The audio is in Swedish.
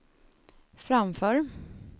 framför